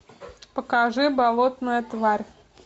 покажи болотная тварь